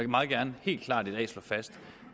meget gerne helt klart slå fast